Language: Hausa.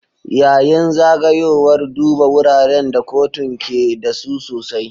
Yayin zagayowar, duba wuraren da kotun ke da su sosai.